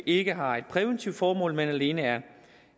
ikke har et præventivt formål men alene er